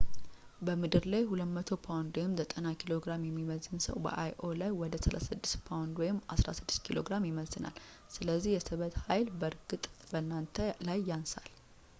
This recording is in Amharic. በምድር ላይ 200 ፓውንድ 90kg የሚመዝን ሰው በ io ላይ ወደ 36 ፓውንድ 16 ኪሎ ግራም ይመዝናል። ስለዚህ የስበት ኃይል በእርግጥ በእናንተ ላይ ያንሳል